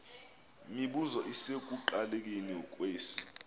mibuzo isekuqalekeni kwesi